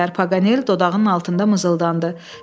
Paqanel dodağının altında mızıldandı.